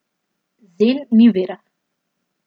Zen ni vera.